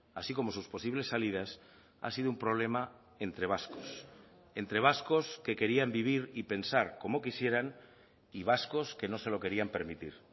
así como sus posibles salidas ha sido un problema entre vascos entre vascos que querían vivir y pensar como quisieran y vascos que no se lo querían permitir